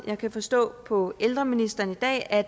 jeg kan forstå på ældreministeren i dag at